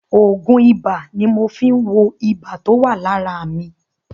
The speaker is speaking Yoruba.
Òògùn ibà ni mo fi ń wo ibà tó wà lára mi.